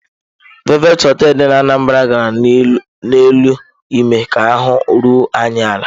Velvet hotel dị n'Anambra gara n'elu ime ka ahụ́ ruo anyị ala.